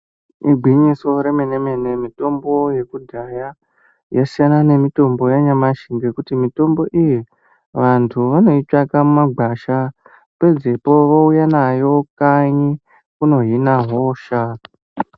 Igwinyiso remene mene mitombo yekudhaya yasiyana nemitombo yanyamashi. Ngekuti mitombo iyi vanthu vanoitsvaka mumagwasha pedzepo vouya nayo kanyi kunohina hosha.